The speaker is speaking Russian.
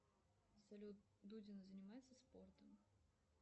салют дудина занимается спортом